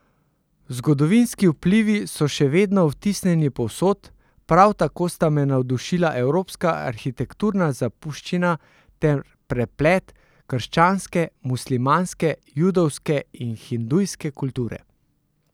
Zgodovinski vplivi so še vedno vtisnjeni povsod, prav tako sta me navdušila evropska arhitekturna zapuščina ter preplet krščanske, muslimanske, judovske in hindujske kulture.